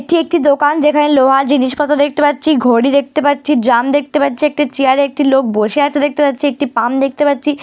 এটি একটি দোকান। যেখানে লোহা জিনিসপত্র দেখতে পাচ্ছি ঘড়ি দেখতে পাচ্ছি ড্রাম দেখতে পাচ্ছি একটা চেয়ারে একটি লোক বসে আছে দেখতে পাচ্ছি একটি পাম্প দেখতে পাচ্ছি ।